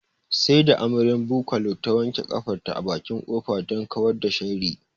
Sai da amaryar Bukola ta wanke ƙafarta a bakin ƙofa don kawar da sharri